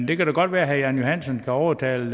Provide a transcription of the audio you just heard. det kan da godt være herre jan johansen kan overtale